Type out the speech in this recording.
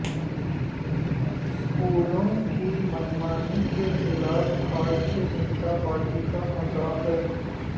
اسکولوں کی منمانی کے خلاف بھارتیہ جنتا پاڑی کا مظاہر